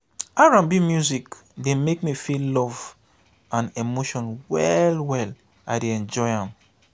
r&b music dey make me feel love and emotion well-well i dey enjoy am.